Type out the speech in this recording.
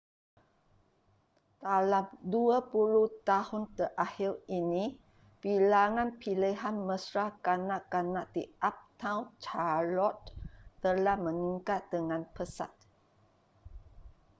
dalam 20 tahun terakhir ini bilangan pilihan mesra kanak-kanak di uptown charlotte telah meningkat dengan pesat